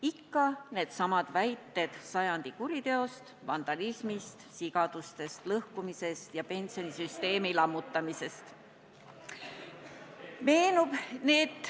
Ikka needsamad väited sajandi kuriteost, vandalismist, sigadustest, lõhkumisest ja pensionisüsteemi lammutamisest.